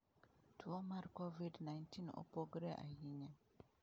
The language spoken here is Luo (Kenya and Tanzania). "Two mar Covid-19 opogore ahinya."""